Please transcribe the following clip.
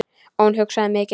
Og hugsaði mikið.